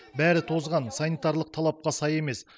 бәрі тозған санитарлық талапқа сай емес